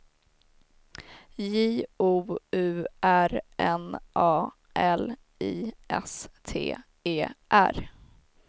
J O U R N A L I S T E R